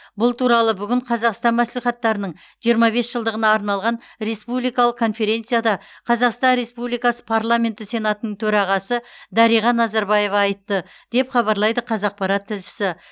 бұл туралы бүгін қазақстан мәслихаттарының жиырма бес жылдығына арналған республикалық конференцияда қазақстан республикасы парламенті сенатының төрағасы дариға назарбаева айтты деп хабарлайды қазақпарат тілшісі